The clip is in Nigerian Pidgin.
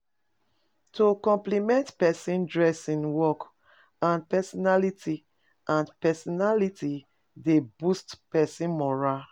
To compliment persin dressing work or personality or personality de boost persin morale